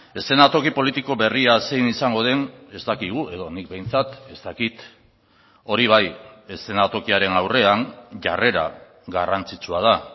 eszenatoki politiko berria zein izango den ez dakigu edo nik behintzat ez dakit hori bai eszenatokiaren aurrean jarrera garrantzitsua da